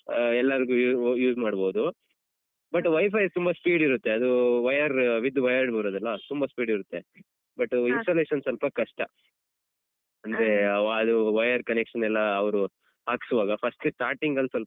ಆ ಎಲ್ಲರ್ಗು u~ use ಮಾಡ್ಬೋದು but WiFi ತುಂಬ speed ಇರುತ್ತೆ ಅದು wire with wire ಬರುದಲ್ಲ ತುಂಬ speed ಇರುತ್ತೆ but installation ಸ್ವಲ್ಪ ಕಷ್ಟ ಅಂದ್ರೆ ಆ wire connection ಎಲ್ಲ ಅವ್ರು ಹಾಕ್ಸುವಾಗ first ಟೇ starting ಗಲ್ ಸ್ವಲ್ಪ